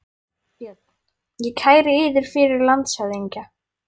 BJÖRN: Ég kæri yður fyrir landshöfðingja.